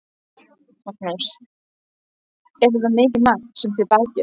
Magnús: Er þetta mikið magn sem þið bakið?